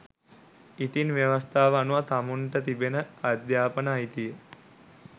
ඉතිං ව්‍යවස්තාව අනුව තමුන්ට තිබෙන අධ්‍යාපනය අයිතිය